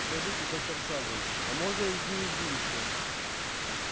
скажите доктор сэлдон а можно изменить будущее